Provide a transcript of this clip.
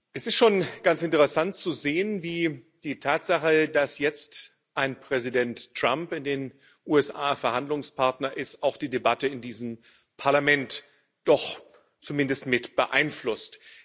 Es ist schon ganz interessant zu sehen, wie die Tatsache, dass jetzt ein Präsident Trump in den USA Verhandlungspartner ist, auch die Debatte in diesem Parlament doch zumindest mit beeinflusst.